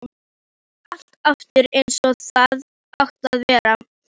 Gerði allt aftur eins og það átti að vera.